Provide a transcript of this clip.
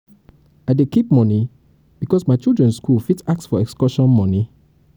i dey keep moni because my children skool fit ask for excursion moni.